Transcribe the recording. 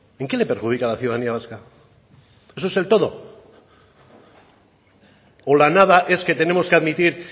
en qué le perjudica a la ciudadanía vasca eso es el todo o la nada es que tenemos que admitir